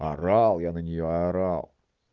орал я на неё орал